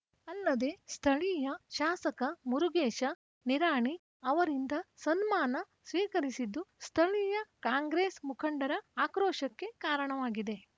ಅಲ್ಲದೇ ಸ್ಥಳೀಯ ಶಾಸಕ ಮುರುಗೇಶ ನಿರಾಣಿ ಅವರಿಂದ ಸನ್ಮಾನ ಸ್ವೀಕರಿಸಿದ್ದು ಸ್ಥಳೀಯ ಕಾಂಗ್ರೆಸ್‌ ಮುಖಂಡರ ಆಕ್ರೋಶಕ್ಕೆ ಕಾರಣವಾಗಿದೆ